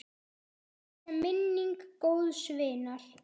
Blessuð sé minning góðs vinar.